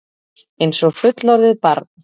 Einsog fullorðið barn.